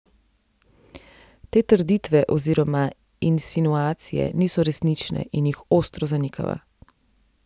Te trditve oziroma insinuacije niso resnične in jih ostro zanikava.